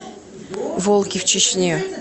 волки в чечне